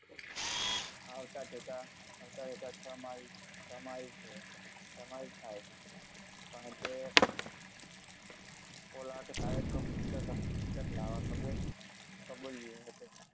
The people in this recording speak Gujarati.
હાલત જતા કમાય છે, કમાય થાય, કારણ કે કોઈક લાયક પુસ્તક